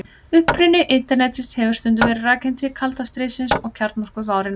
Uppruni Internetsins hefur stundum verið rakinn til kalda stríðsins og kjarnorkuvárinnar.